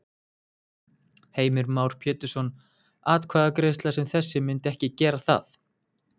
Heimir Már Pétursson: Atkvæðagreiðsla sem þessi myndi ekki gera það?